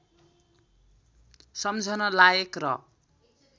सम्झन लायक र